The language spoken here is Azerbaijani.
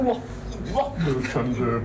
Bunu la bülbül eləyiblər.